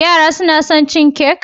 Yara suna son cin kek?